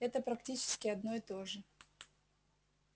это практически одно и то же